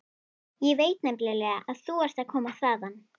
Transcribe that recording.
Ég veit nefnilega að þú ert að koma þaðan.